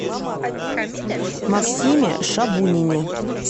максиме шабунине